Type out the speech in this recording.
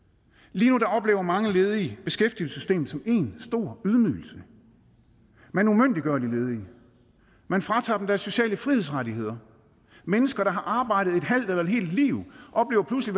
lige nu oplever mange ledige beskæftigelsessystemet som én stor ydmygelse man umyndiggør de ledige man fratager dem deres sociale frihedsrettigheder mennesker der har arbejdet et halvt eller et helt liv oplever pludselig